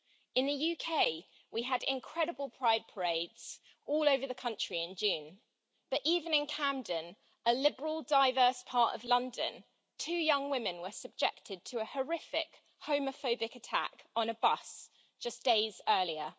In the UK, we had incredible pride parades all over the country in June, but even in Camden, a liberal, diverse part of London two young women were subjected to a horrific homophobic attack on a bus, just days earlier.